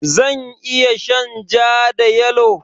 Zan iya shan ja da yalo?